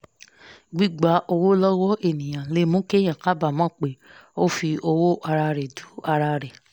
gbigba owó lọ́wọ́ èèyàn le mú kéèyàn kábàámọ̀ pé ó fi owó ara rẹ̀ du ara rẹ̀